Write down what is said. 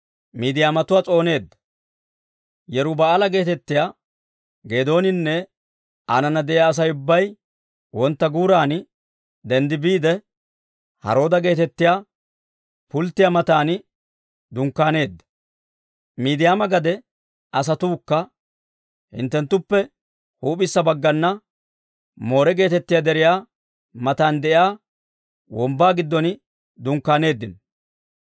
Yeruba'aala geetettiyaa Geedooninne aanana de'iyaa Asay ubbay wontta guuran denddi biide, Harooda geetettiyaa pulttiyaa matan dunkkaaneedda. Miidiyaama gade asatuukka hinttuttuppe huup'issa baggana Moore geetettiyaa deriyaa matan de'iyaa wombbaa giddon dunkkaaneeddino.